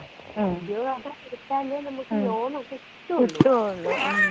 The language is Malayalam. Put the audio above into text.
ആ ഉദ്യോഗ ആധാർ എടുത്താലേ നമ്മുക് ലോണൊക്കെ കിട്ടൊള്ളു.